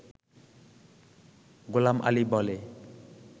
গোলাম আলি বলে